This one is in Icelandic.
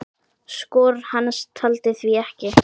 Skor hans taldi því ekki.